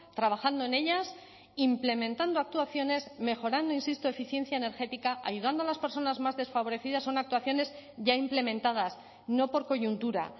trabajando en ellas implementando actuaciones mejorando insisto eficiencia energética ayudando a las personas más desfavorecidas son actuaciones ya implementadas no por coyuntura